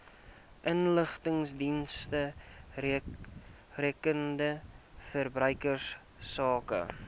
inligtingsdienste rakende verbruikersake